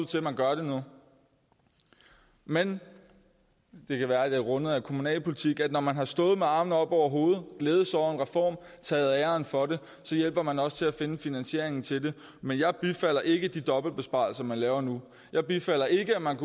til at man gør nu men det kan være det er rundet af kommunalpolitik og når man har stået med armene oppe over hovedet og glædet sig over en reform taget æren for den så hjælper man også til at finde finansieringen til den men jeg bifalder ikke de dobbeltbesparelser man laver nu jeg bifalder ikke at man